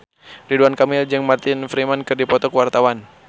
Ridwan Kamil jeung Martin Freeman keur dipoto ku wartawan